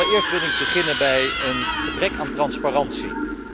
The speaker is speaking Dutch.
Allereerst wil ik beginnen bij het gebrek aan transparantie.